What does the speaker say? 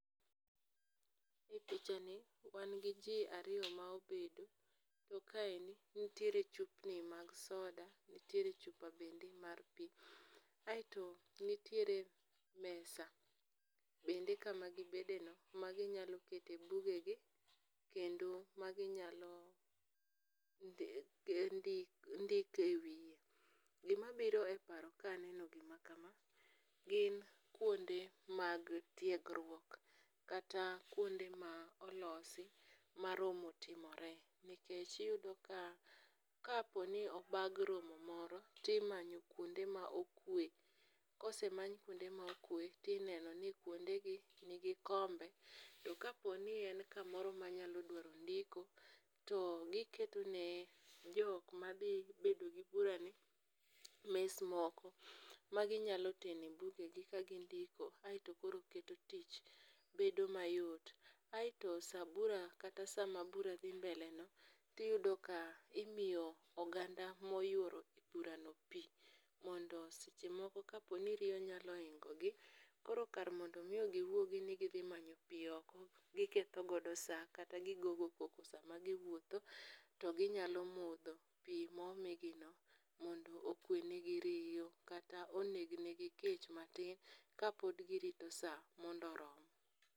E pichani wan gi ji ariyo ma obedo, to kaendi, nitiere chupni mag soda, nitiere chupa bende mar pi, aeto nitiere mesa bende kama gibedeno, maginyalo kete bugegi, kendo maginyalo ndiko e wiye. Gimabiro e paro kaneno gima kama, gin kwonde mag tiegruok kata kwonde ma olosi ma romo timore, nikech iyudo ka kaponi obag romo moro, timanyo kwonde ma okwe. kosemany kwonde maokwe, tineno ni kwondegi nigi kombe, to kaponi en kamoro manyalo dwaro nidiko to giketone jok madhi bedo gi burani, mes moko maginyalo tenoe bugegi kagindiko aeto koro keto tich bedo mayot. Aeto sa buta kata sama bura dhi mbele no, tiyudo ka imiyo oganda moyworo burano pi, mondo seche moko kaponi riyo nyalo hingogi, koro kar mondo miyo giwuogi ni dhi manyo pi oko, giketho godo sa kata gigogo koko sama giwuotho, to ginyalo modho pi momigino mondo okwe negi riyo kata oneg negi kech matin kapod girito sa mondo orom.